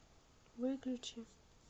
выключи